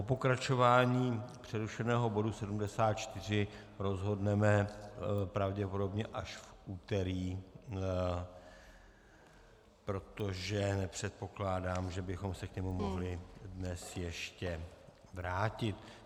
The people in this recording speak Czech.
O pokračování přerušeného bodu 74 rozhodneme pravděpodobně až v úterý, protože nepředpokládám, že bychom se k němu mohli dnes ještě vrátit.